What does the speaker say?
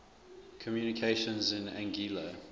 communications in anguilla